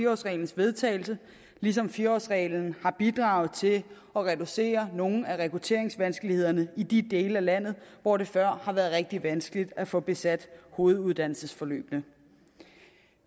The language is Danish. årsreglens vedtagelse ligesom fire årsreglen har bidraget til at reducere nogle af rekrutteringsvanskelighederne i de dele af landet hvor det før har været rigtig vanskeligt at få besat hoveduddannelsesforløbene